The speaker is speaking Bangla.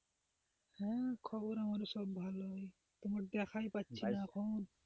হ্যাঁ খবর আমার ও সব ভালই, তোমার দেখায় পাচ্ছি না এখন।